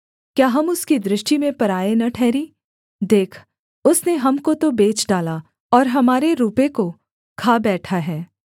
क्या हम उसकी दृष्टि में पराए न ठहरीं देख उसने हमको तो बेच डाला और हमारे रूपे को खा बैठा है